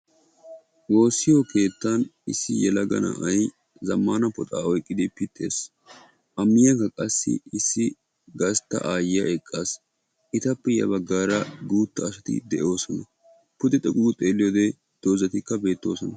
Woossiyo keettan issi yelaga na'ay zamaana puxxa oyqqiddi pitees. Ettappe qommo bagan dumma dumma doozzatti beetosonna.